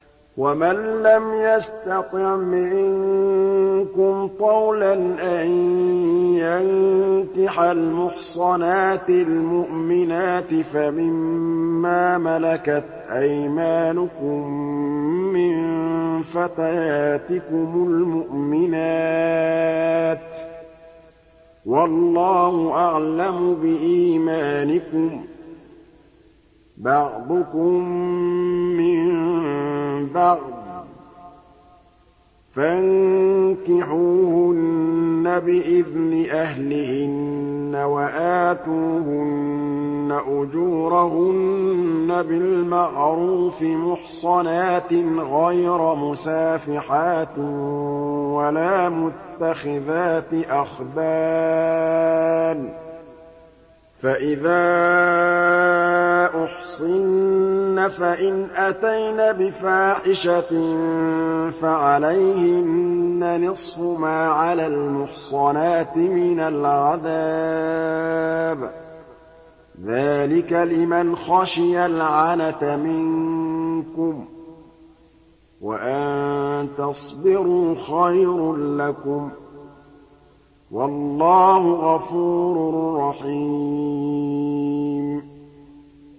وَمَن لَّمْ يَسْتَطِعْ مِنكُمْ طَوْلًا أَن يَنكِحَ الْمُحْصَنَاتِ الْمُؤْمِنَاتِ فَمِن مَّا مَلَكَتْ أَيْمَانُكُم مِّن فَتَيَاتِكُمُ الْمُؤْمِنَاتِ ۚ وَاللَّهُ أَعْلَمُ بِإِيمَانِكُم ۚ بَعْضُكُم مِّن بَعْضٍ ۚ فَانكِحُوهُنَّ بِإِذْنِ أَهْلِهِنَّ وَآتُوهُنَّ أُجُورَهُنَّ بِالْمَعْرُوفِ مُحْصَنَاتٍ غَيْرَ مُسَافِحَاتٍ وَلَا مُتَّخِذَاتِ أَخْدَانٍ ۚ فَإِذَا أُحْصِنَّ فَإِنْ أَتَيْنَ بِفَاحِشَةٍ فَعَلَيْهِنَّ نِصْفُ مَا عَلَى الْمُحْصَنَاتِ مِنَ الْعَذَابِ ۚ ذَٰلِكَ لِمَنْ خَشِيَ الْعَنَتَ مِنكُمْ ۚ وَأَن تَصْبِرُوا خَيْرٌ لَّكُمْ ۗ وَاللَّهُ غَفُورٌ رَّحِيمٌ